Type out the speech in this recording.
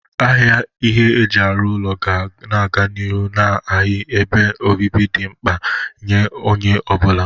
Ahịa ihe eji arụ ụlọ ga na-aga n'ịrụ n'ihi ebe obibi dị mkpa nye onye ọ bụla.